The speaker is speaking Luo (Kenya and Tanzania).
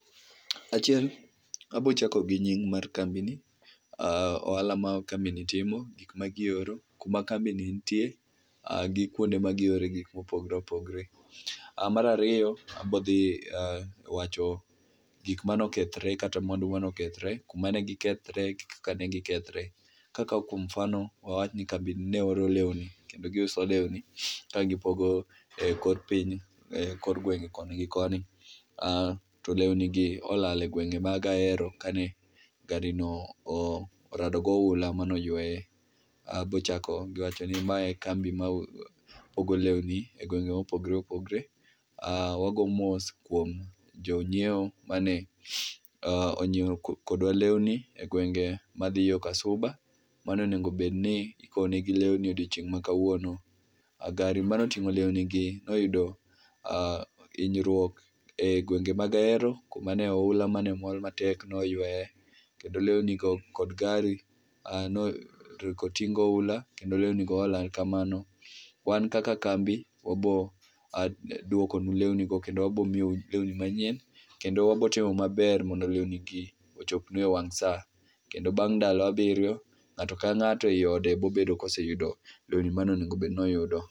Achiel, abo chako gi nying mar kambini ,ohala ma kambini timo, gik ma gioro, kuma kambi ni nitie, gi kuonde ma giore gik mopogore opogore. Mar ariyo, abo dhi wacho gik mane okethre, kata mwandu mane okethre, kumane gikethre kaka ne gikethre. Ka kao kuom mfano wawach ni ne bedni waoro lewni kendo giuso lewni ka gipogo ekor piny ekor gwenge koni gi koni to lewno gi olal e gwenge mag Ahero kane garini orado gi oula mane oyweye. Abo chako gi wachoni ma e kambi ma ogol lewni e gwenge ma opogore opogore, aah, wago mos kuom jonyiewo mane onyiew kodwa lewni e gwenge madhi yoo ka Suba mane onego obedni ikownegi lewni odiochieng ma kawuono. Gari mane otingo lewni gi noyudo hinyruok e gwenge mag Ahero kuma ne oula mane mol matek ne oyweye. Kendo lewni go kod gari ne oriko oting gi oula kendo lewni go olal kamano. Wan kaka kambi wabro duokonu lewni go kendo wabo miyou lewni manyien kendo wabo timo maber mondo lewni gi ochopue ewang saa. Kendo bang ndalo abirio, ngato ka ngato ei ode biro bedo ka yudo lewni mane onego obe dni oyudo.